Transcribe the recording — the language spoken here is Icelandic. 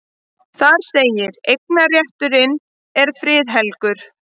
Þar segir: Eignarrétturinn er friðhelgur.